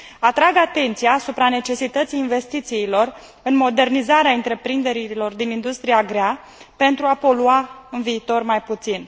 Atrag atenția asupra necesității investițiilor în modernizarea întreprinderilor din industria grea pentru a polua în viitor mai puțin.